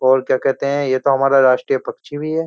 और क्या कहते हैं ये तो हमारा राष्ट्रीय पक्षी भी है।